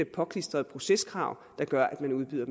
påklistrede proceskrav der gør at man udbyder